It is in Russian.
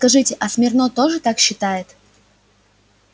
скажите а смирно тоже так считает